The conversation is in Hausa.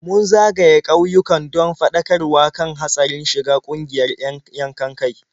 Mun zagaya ƙauyuka don faɗakarwa kan hatsarin shiga ƙungiyar 'yan yankan-kai.